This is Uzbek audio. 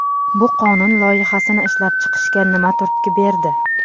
Bu qonun loyihasini ishlab chiqishga nima turtki berdi?